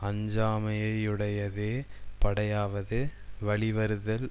அஞ்சாமையையுடையதே படையாவது வழிவருதல்